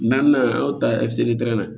Naaninan an y'o ta na